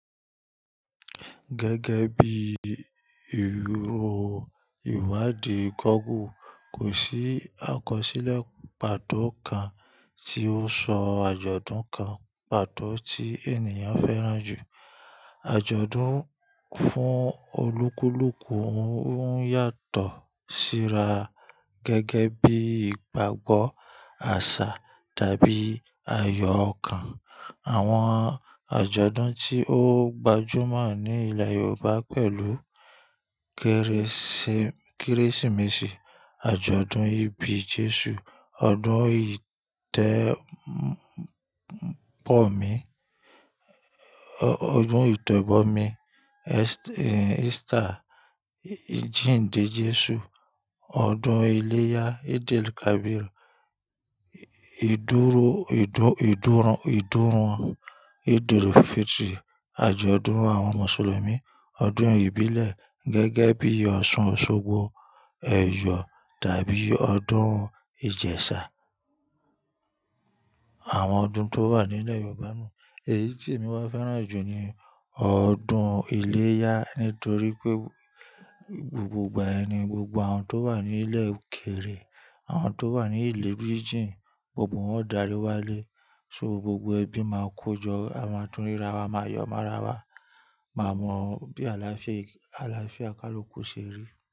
Gẹ́gẹ́ bí ìrò ìwádìí gọ́ogle, kò sí àkọsílẹ̀ pàtó kan tí ó sọ àjọ̀dún kan pàtó tí ènìyàn fẹ́ràn jù. Àjọ̀dún fún olúkúlùkù ń yàtọ̀ síra gẹ́gẹ́ bí ìgbàgbọ́, àṣà tàbí ayọ̀ okan. Àwọn àjọ̀dún tí ó gbajúmọ̀ ní ilẹ̀ Yorùbá pẹ̀lú Kérésìmesì, àjọ̀dún ìbí Jésù, ọdún yi jẹ́ ìtẹ́bọmi, Easter, ìjìnde Jésù, ọdún iléyá, el kaabiru, edu wan, eaj ọdún Mùsùlùmí, ọdún ìbílẹ̀ gẹ́gẹ́ bí ọdún Ọ̀ṣun Òṣogbo, ẹ̀yọ̀ àti ọdún Ìjẹ̀ṣà. Àwọn ọdún tó wà nílẹ̀ Yorùbá náà, èyí tí èmi máa fẹ́ràn jù ni ọdún iléyá nítorí pé gbogbo ìgbà yẹn ni, gbogbo àwọn tó wà ní ilẹ̀ òkèèrè, àwọn tó wà ní ilẹ̀ ibí jìnjìn, gbogbo wọn ó darí wálé. So gbogbo ẹbí máa kojọ́, a máa tún ríra wa, a máa yọ mọ́ra wa, máa mọ bí àlàáfíà, àlàáfíà kálú kù ṣe rí.